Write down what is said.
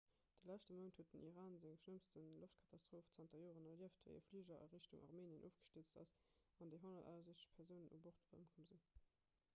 de leschte mount huet den iran seng schlëmmst loftkatastroph zanter joren erlieft wéi e fliger a richtung armenien ofgestierzt ass an déi 168 persounen u bord ëmkomm sinn